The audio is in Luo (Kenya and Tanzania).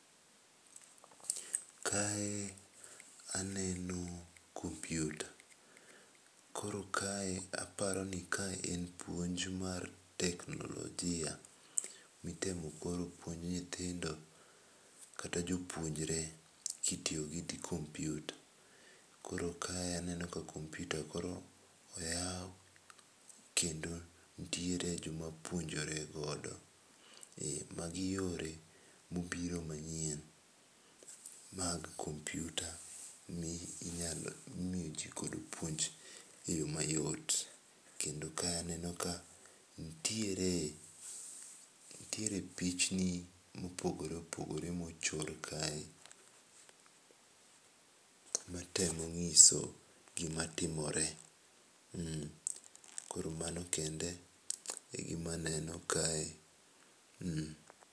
Kae aneno kompyuta, koro kae aparo ni kae en puonj mar teknolojia ,itemo koro puonj nyithindo kata jopuonjre ,ki itiyo kod kompyuta. Koro kae aneno ka koro kompyuta oyaw kendo nitiere jo ma puonjore godo. Ma gi yore ma obiro ma nyien mag kompyuta, mi inyalo, imiyo godo ji puonj e yo ma yot. Kendo ka aneno ka nitiere, nitiere pichni ma opogore opogore ma ochung kae, ma tmo ngiso gi ma timore, koro mano kende e gi ma aneo kae.